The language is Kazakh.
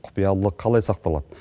құпиялылық қалай сақталады